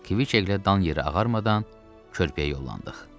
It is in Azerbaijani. Kviçeklə dan yeri ağarmadan körpüyə yollandıq.